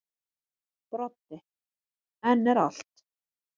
Broddi: En er allt.